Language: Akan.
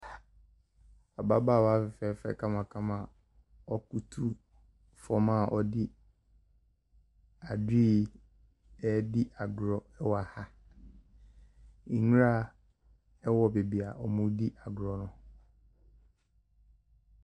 Ababaawa fɛɛfɛ kamakama a ɔbutu fam a ɔde adoe redi agorɔ wɔ ha. Nwura wɔ baabi a wɔredi agorɔ no.